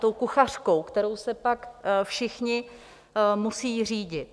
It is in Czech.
Tou kuchařkou, kterou se pak všichni musí řídit.